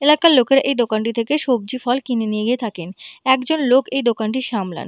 এলাকার লোকেরা এই দোকানটি থেকে সবজি ফল কিনে নিয়ে গিয়ে থাকেন একজন লোক এই দোকানটি সামলান।